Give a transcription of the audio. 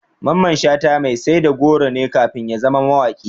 Mamman Shata mai sai da goro ne kafin ya zama mawaƙi.